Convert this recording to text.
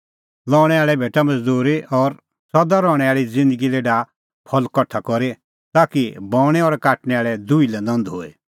लऊंणै आल़ै भेटा मज़दूरी और सदा रहणैं आल़ी ज़िन्दगी लै डाहा फल़ कठा करी ताकि बऊंणैं और काटणै आल़ै दुही लै नंद होए